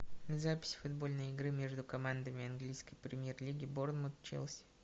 запись футбольной игры между командами английской премьер лиги борнмут челси